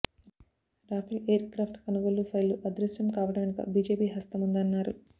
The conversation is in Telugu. రాఫెల్ ఎయిర్ క్రాఫ్ట్ కొనుగోళ్ల ఫైళ్లు అదృశ్యం కావడం వెనక బీజేపీ హస్తముందన్నారు